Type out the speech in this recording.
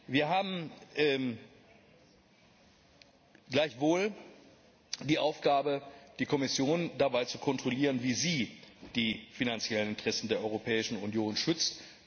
Wir haben gleichwohl die Aufgabe, die Kommission dabei zu kontrollieren, wie sie die finanziellen Interessen der Europäischen Union schützt.